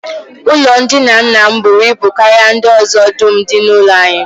Ụlọndina nna m buru ibu karịa ndị ọzọ dum dị n'ụlọ anyị